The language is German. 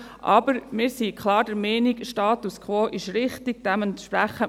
Aber wir sind klar der Meinung, dass der Status quo richtig ist.